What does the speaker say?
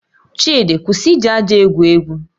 Chidi, kwụsị iji aja egwu egwu